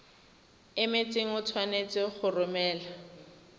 emetseng o tshwanetse go romela